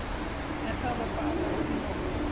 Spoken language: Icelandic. En það var bara ekki nóg.